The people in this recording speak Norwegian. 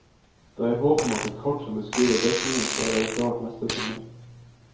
Det er håp om at et kart som beskriver dekningen skal være klart neste sommer.